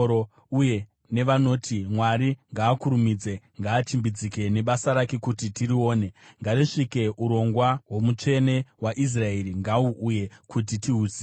uye nevanoti, “Mwari ngaakurumidze, ngaachimbidzike nebasa rake kuti tirione. Ngarisvike, urongwa hwoMutsvene waIsraeri ngahuuye, kuti tihuzive.”